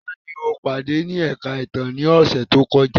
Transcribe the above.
Tani o pade ni ẹka itan ni ọsẹ to kọja?